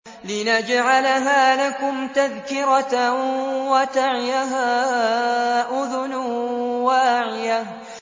لِنَجْعَلَهَا لَكُمْ تَذْكِرَةً وَتَعِيَهَا أُذُنٌ وَاعِيَةٌ